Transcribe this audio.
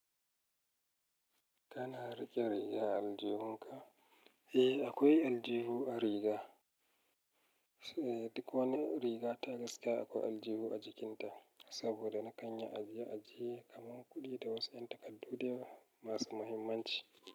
Kana riƙe riga aljihunka? Eh akwai aljihu a riga. Duk wani riga ta gaska akwai aljihu a jikin ta. Saboda nakan yi ajiye kaman kuɗi da wasu yan takardu masu muhimmanci.